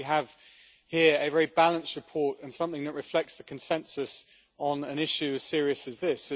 I think we have here a very balanced report and something that reflects the consensus on an issue as serious as this.